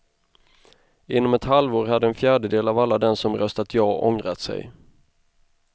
Inom ett halvår hade en fjärdedel av alla dem som röstat ja ångrat sig.